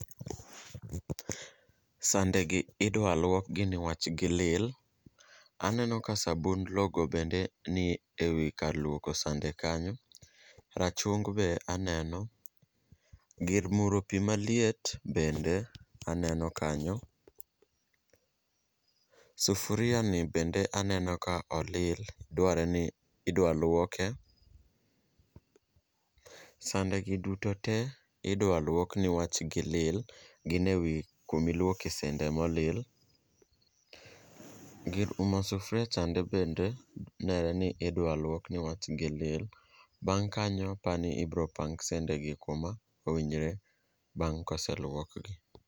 Sandegi idwa luokgi nikech gilil, aneno ka sabund logo bende ni e wi kar luoko sande kanyo, rachung be aneno, gir muro pi maliet bende aneno kanyo. Sufuria ni bende aneno ka olil, dwarre ni idwa luoke. Sande gi duto te, idwa luok niwach gilil. Gin ewi kuma iluoke sande molil. Gir umo sufuria chande bende nenre ni idwa luok niwach gilil. Bang' kanyo aparo ni ibiro pang sandegi kuma owinjore bang' kose luok gi.